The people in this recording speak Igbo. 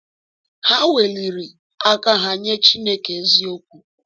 Ha weliri aka ha nye Chineke eziokwu.